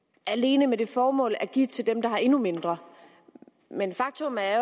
alene med det formål at give til dem der har endnu mindre men faktum er